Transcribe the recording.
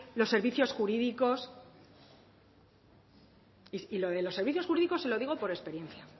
los servicios jurídicos lo de los servicios jurídicos se lo digo por experiencia